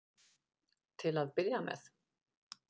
Til að byrja með.